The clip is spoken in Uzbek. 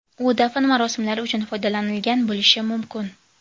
U dafn marosimlari uchun foydalanilgan bo‘lishi mumkin.